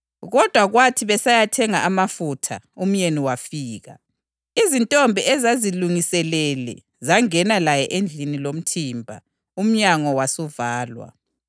Kodwa kwathi besayathenga amafutha umyeni wafika. Izintombi ezazizilungiselele zangena laye edilini lomthimba. Umnyango wasuvalwa.